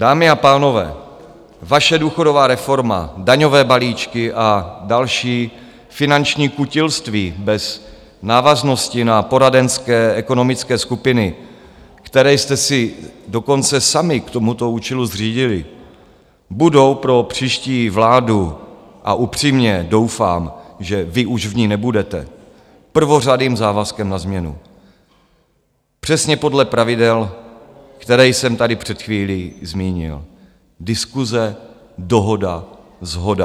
Dámy a pánové, vaše důchodová reforma, daňové balíčky a další finanční kutilství bez návaznosti na poradenské ekonomické skupiny, které jste si dokonce sami k tomuto účelu zřídili, budou pro příští vládu - a upřímně doufám, že vy už v ní nebudete - prvořadým závazkem na změnu přesně podle pravidel, která jsem tady před chvílí zmínil. Diskuse, dohoda, shoda.